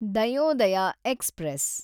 Dayodaya express